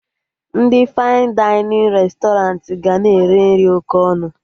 Ndị fain dainịn restọranti ga na-ere nri oké ọnụ